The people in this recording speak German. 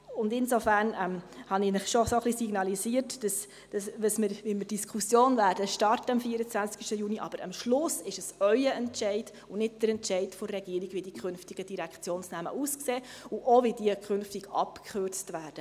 Insofern habe ich Ihnen schon ein bisschen signalisiert, wie wir die Diskussion am 24. Juni starten werden, aber am Schluss ist es Ihr Entscheid und nicht der Entscheid Regierung, wie die künftigen Direktionsnamen aussehen und wie sie künftig abgekürzt werden.